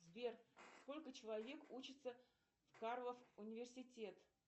сбер сколько человек учится в карлов университет